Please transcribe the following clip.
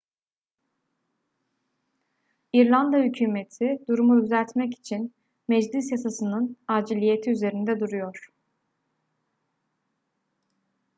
i̇rlanda hükümeti durumu düzeltmek için meclis yasasının aciliyeti üzerinde duruyor